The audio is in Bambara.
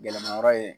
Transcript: Gɛlɛmayɔrɔ ye